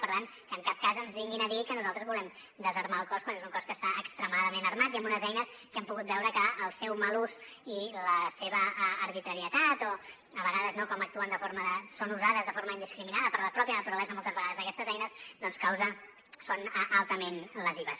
per tant que en cap cas ens vinguin a dir que nosaltres volem desarmar el cos quan és un cos que està extremadament armat i amb unes eines que hem pogut veure que el seu mal ús i la seva arbitrarietat o a vegades no com actuen són usades de forma indiscriminada per la mateixa naturalesa moltes vegades d’aquestes eines doncs són altament lesives